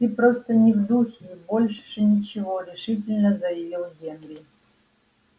ты просто не в духе и больше ничего решительно заявил генри